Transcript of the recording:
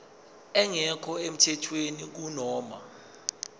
engekho emthethweni kunoma